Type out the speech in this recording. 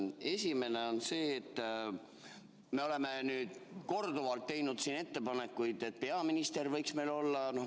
Esimene on see, et me oleme korduvalt teinud ettepanekuid, et peaminister võiks Riigikogu ette tulla.